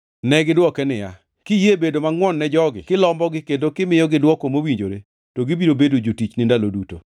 Negidwoke niya, “Kiyie bedo mangʼwon ne jogi kilombogi kendo kimiyogi dwoko mowinjore, to gibiro bedo jotichni ndalo duto.”